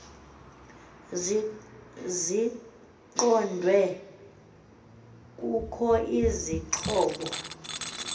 ziqondwe kukho izixhobo